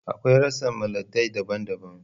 Akwai rassan miliatay daban-daban